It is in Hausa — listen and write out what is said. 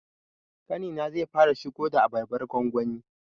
Ƙanina zai fara shigo da abarbar gwangwani